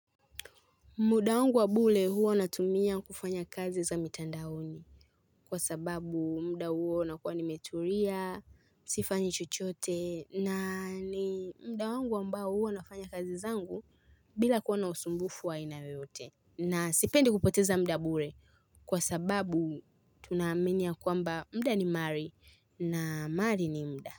Muda wangu wa bure huwa natumia kufanya kazi za mitandaoni, kwa sababu muda huo nakuwa nimetulia, sifanyi chochote na ni muda wangu ambao huwa nafanya kazi zangu bila kuwa na usumbufu wa aina yoyote. Na sipendi kupoteza muda bure kwa sababu tunaamini ya kwamba muda ni mali na mali ni muda.